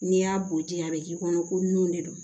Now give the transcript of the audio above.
N'i y'a bo ji a be k'i kɔnɔ ko nun de don